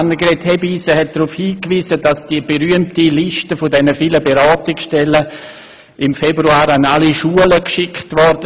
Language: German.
Grossrä tin Hebeisen hat darauf hingewiesen, dass die berühmte Liste dieser vielen Beratungsstellen im Februar an alle Schulen geschickt wurde.